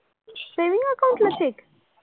saving accAount ला cheque?